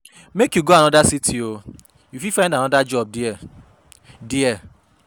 Make you go anoda city o, you fit find anoda job there. there.